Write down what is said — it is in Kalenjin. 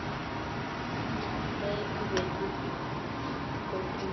Yaetu ketit ni, kotuitu suswek.